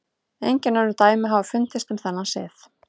Engin önnur dæmi hafa fundist um þennan sið.